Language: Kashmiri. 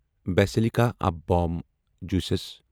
basilica of Bom Jesus